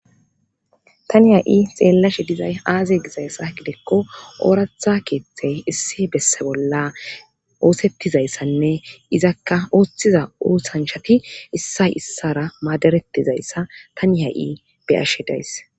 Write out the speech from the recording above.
tani ha7i xeellashe dizay aaze gizayssa gideekko ooratha keeththey issi besse bolla oosettizayssanne izakka oosthiza oosanshati issay issara maaderetizayssa tani ha7i beyashe days